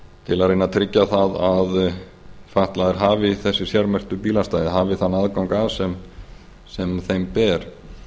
til að reyna að tryggja það að fatlaðir hafi þessi sérmerktu bílastæði hafi þann aðgang að sem þeim ber